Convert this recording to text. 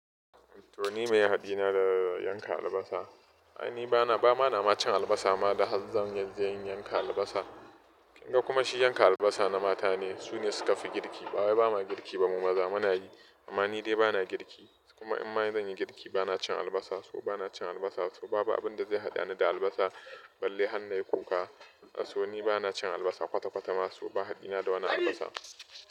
To ni meye haɗina da yanka albasa? Ai ni bana, ba ma na ma cin albasa ma da har zan, zai in yanka albasa. Kin ga kuma shi yanka albasa na mata ne, su ne suka fi girki. Bawai bama girki ba mu maza, muna yi, amma ni dai bana girki. Kuma in ma zan yi girki bana cin albasa, so bana cin albasa, to babu abun da zai haɗa ni da albasa, balle hannai kuka. To ni bana cin albasa kwata-kwata ma, so ba haɗina da wani albasa.